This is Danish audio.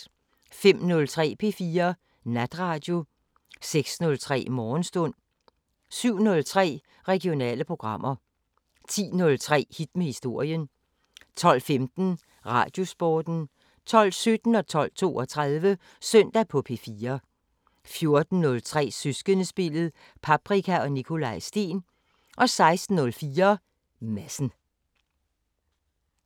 05:03: P4 Natradio 06:03: Morgenstund 07:03: Regionale programmer 10:03: Hit med historien 12:15: Radiosporten 12:17: Søndag på P4 12:32: Søndag på P4 14:03: Søskendespillet: Paprika og Nikolaj Steen 16:04: Madsen